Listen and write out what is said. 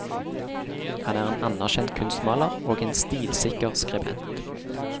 Han er en anerkjent kunstmaler og en stilsikker skribent.